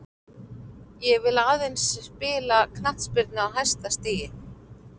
Ég vill aðeins spila knattspyrnu á hæsta stigi.